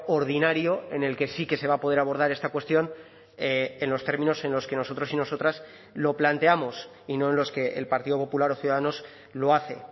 ordinario en el que sí que se va a poder abordar esta cuestión en los términos en los que nosotros y nosotras lo planteamos y no en los que el partido popular o ciudadanos lo hace